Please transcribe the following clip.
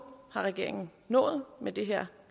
har regeringen nået med det her